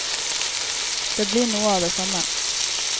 Det blir noe av det samme.